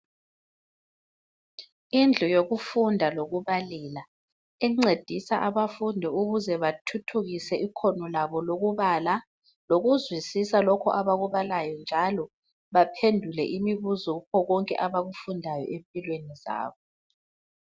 Indlu yokufunda lokubalela encedisa abafundi ukuze bathuthukise ikhono labo lokubala, lokuzwisisa lokhu abakubalayo njalo baphendule imibuzo kukho konke abakufundayo empilweni zabo.